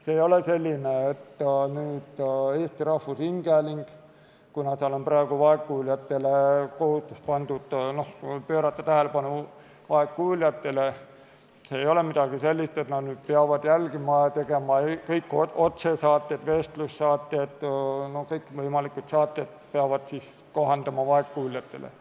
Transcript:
See ei ole selline, et kuna Eesti Rahvusringhäälingul on praegu kohustus pöörata tähelepanu vaegkuuljatele, siis nad peavad seda järgima ja kõik otsesaated, vestlussaated ja kõikvõimalikud saated kohandama vaegkuuljatele.